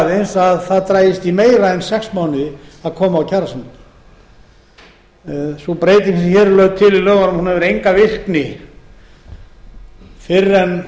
aðeins að það dragist í meira en sex mánuði að koma á kjarasamningi sú breyting sem hér er lögð til í lögunum hefur enga virkni fyrr en